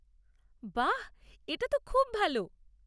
বাহ, এটা তো খুব ভাল।